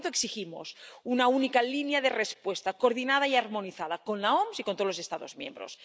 Por tanto, exigimos una única línea de respuesta, coordinada y armonizada con la OMS y con todos los Estados miembros.